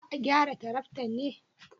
Za a gyara taraktan ne?